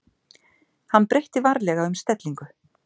Hann breytti varlega um stellingu.